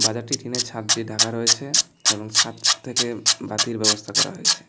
বাজারটি টিনের ছাদ দিয়ে ঢাকা রয়েছে এবং ছাদ থেকে বাতির ব্যবস্থা করা হয়েছে।